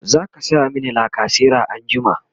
zaka saya mini lacasera anjima?